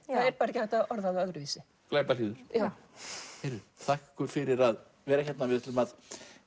er bara ekki hægt að orða það öðruvísi glæpalýður þakka ykkur fyrir að vera hérna við ætlum að